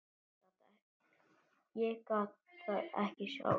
Ég gat það ekki sjálf.